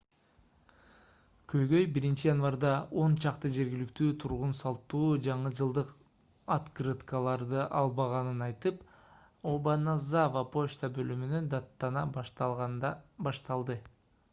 көйгөй 1-январда он чакты жергиликтүү тургун салттуу жаңы жылдык открыткаларды албаганын айтып обаназава почта бөлүмүнө даттана башташканда башталды